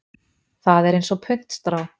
Það er eins og puntstrá.